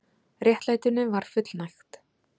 Réttlætinu var fullnægt